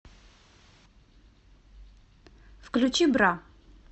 включи бра